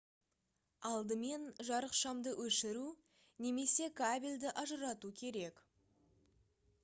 алдымен жарықшамды өшіру немесе кабельді ажырату керек